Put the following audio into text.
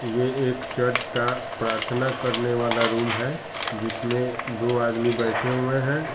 ये एक चर्च का प्रर्थना करने वाला रूम है जिसमे दो आदमी बैठें हुए हैं।